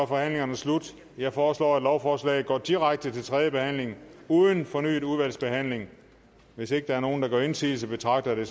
forhandlingen slut jeg foreslår at lovforslaget går direkte til tredje behandling uden fornyet udvalgsbehandling hvis ikke der er nogen der gør indsigelse betragter